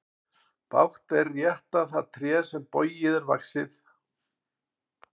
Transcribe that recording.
Bágt er rétta það tré sem bogið er vaxið.